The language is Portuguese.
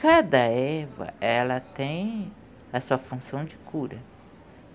Cada erva, ela tem a sua função de cura.